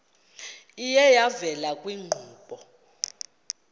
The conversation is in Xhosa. iye yavela kwiinkqubo